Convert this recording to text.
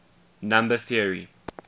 number theory